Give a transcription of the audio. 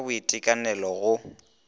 go ja ka boitekanelo go